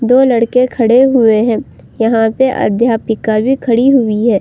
दो लड़के खड़े हुए हैं। यहाँ पे अध्यापिका भी खड़ी हुई है।